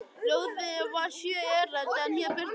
Ljóðið var sjö erindi en hér birtast tvö þeirra: